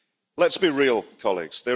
Let's be real, colleagues.